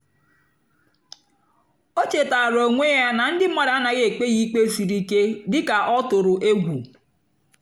ó chétáárá ónwé yá nà ndí mmádụ́ ánàghị́ ékpé yá íkpé sírí íké dị́ká ọ́ tụ̀rụ̀ égwù.